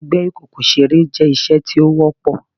Gbigbe ikoko sere jẹ iṣe ti o wọpọ